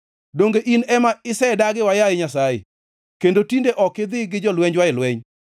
Donge in ema isedagiwa, yaye Nyasaye, kendo tinde ok idhi gi jolwenjwa e lweny?